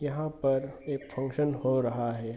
यहां पर एक फंक्शन हो रहा है।